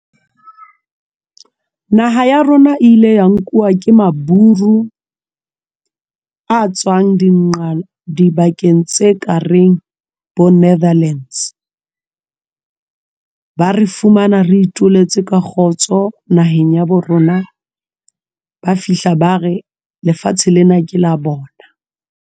Naha ya rona e ile ya nkuwa ke maburu a tswang dibakeng tse kareng bo Netherlands. Ba re fumana re ituletse ka kgotso naheng ya bo rona. Ba fihla ba re lefatshe lena ke la bona.